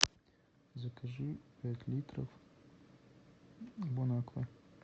закажи пять литров бон аква